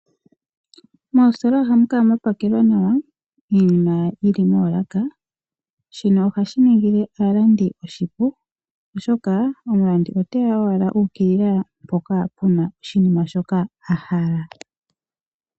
Moositola ohamu kala mwapakelwa nawa iinima yili moolaka. Shino ohashi ningile aalandi oshipu, oshoka omulandi oteya owala u ukilila mpoka puna oshinima shoka a hala.